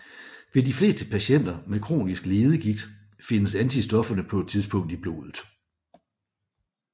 Ved de fleste patienter med kronisk leddegigt findes antistofferne på et tidspunkt i blodet